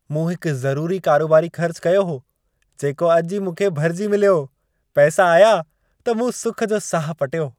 मूं हिकु ज़रूरी कारोबारी ख़र्चु कयो हो, जेको अॼु ई मूंखे भरिजी मिलियो। पैसा आया, त मूं सुख जो साह पटियो।